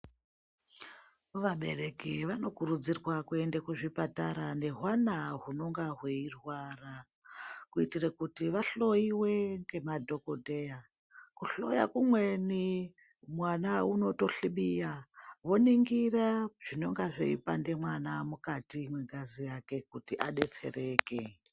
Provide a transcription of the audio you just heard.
Vabereki vanokurudzirwa kuende kuzvipatara nehwana hunonga hweirwara kuitire kuti vahloyiwe ngemadhokodheya. Kuhloya kumweni mwana unotohlibiya voningira zvinonga zveipande mwana mukati mwengazi yake kuti adetsereke.